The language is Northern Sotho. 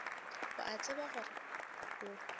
o a tseba gore o